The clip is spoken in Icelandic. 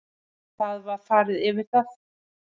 Það var farið yfir það